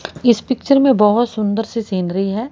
इस पिक्चर में बोहत सुंदर सी सेनरी है।